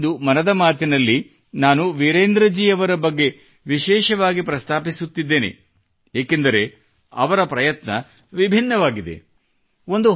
ಆದರೆ ಇಂದು ಮನದ ಮಾತಿನಲ್ಲಿ ನಾನು ವಿರೇಂದ್ರ ಜಿ ಅವರ ಬಗ್ಗೆ ವಿಶೇಷವಾಗಿ ಪ್ರಸ್ತಾಪಿಸುತ್ತಿದ್ದೇನೆ ಏಕೆಂದರೆ ಅವರ ಪ್ರಯತ್ನ ವಿಭಿನ್ನವಾಗಿದೆ